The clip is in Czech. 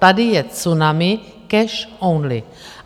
Tady je tsunami cash only.